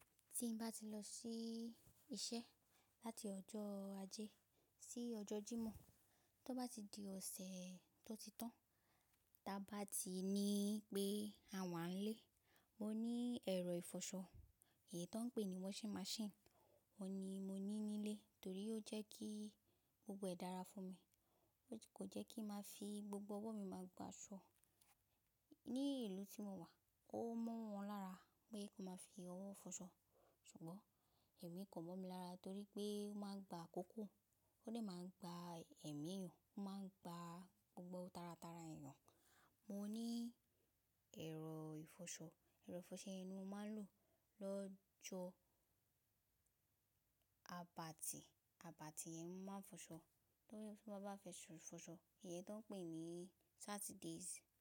Tí n bá ti lọ sí iṣẹ́ láti ọjọ́ ajé sí ọjọ́ Jímọ̀, tó bá di ọ̀sẹ̀ tó ti tán, ta bá ti ní pé àwa ń lé, mo ní ẹ̀rọ ìfọṣọ èyí tó ń pè ní washing machine. Òun ni mo ní nílé torí ó jẹ́ kí gbogbo ẹ̀ dára fún mi. Kò jẹ́ kí máa fi gbogbo ọwọ́ mi máa gba ṣọ. Ní ìlú tí mo wà, ó mọ́ wọn lára pé kí wọ́n máa fi ọwọ́ fọṣọ. Ṣùgbọ́n èmi kò mọ̀ mi lára torí pé ó máa ń gba àkókò, ó lè máa gba ẹ̀mí èèyàn, ó máa ń gba gbogbo tara tara èèyàn. Mo ní ẹ̀rọ ìfọṣọ, ẹ̀rọ ìfọṣọ ni mo máa ń lò lọ́jọ́ Abati. Abati yẹn mo máa ń fọṣọ. Tó bá fẹ́ fọṣọ, èyí tó ń pè ní Saturdays.